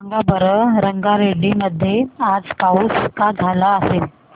सांगा बरं रंगारेड्डी मध्ये आज पाऊस का झाला असेल